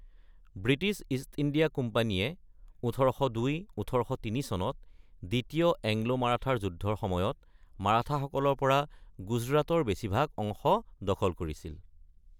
British East India কোম্পানীয়ে ১৮০২-১৮০৩ চনত দ্বিতীয় এংলো-মাৰাঠা যুদ্ধৰ সময়ত মাৰাঠাসকলৰ পৰা গুজৰাটৰ বেছিভাগ অংশ দখল কৰিছিল।